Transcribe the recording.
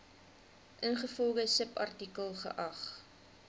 ingevolge subartikel geag